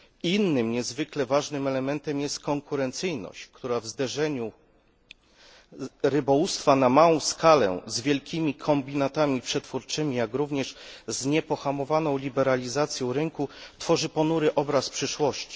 Innym niezwykle ważnym elementem jest konkurencyjność, która w zderzeniu rybołówstwa na małą skalę z wielkimi kombinatami przetwórczymi, jak również z niepohamowaną liberalizacją rynku tworzy ponury obraz przyszłości.